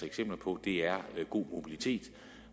eksempler på er god mobilitet